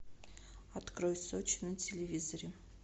открой сочи на телевизоре